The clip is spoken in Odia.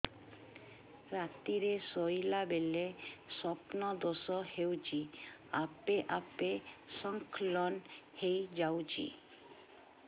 ରାତିରେ ଶୋଇଲା ବେଳେ ସ୍ବପ୍ନ ଦୋଷ ହେଉଛି ଆପେ ଆପେ ସ୍ଖଳନ ହେଇଯାଉଛି